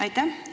Aitäh!